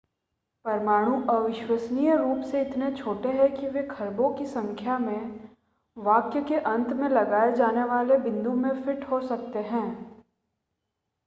परमाणु अविश्वसनीय रूप से इतने छोटे हैं कि वे खरबों की संख्या में वाक्य के अंत में लगने वाले बिंदु में फिट हो सकते हैं